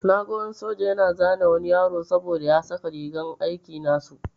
Na gan wani soja yana zane wani yaro saboda ya saka rigar aiki nasu.